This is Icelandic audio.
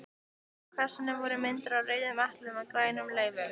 Á kassanum voru myndir af rauðum eplum og grænum laufum.